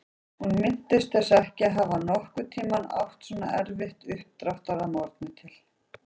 Hún minntist þess ekki að hafa nokkurn tímann átt svona erfitt uppdráttar að morgni til.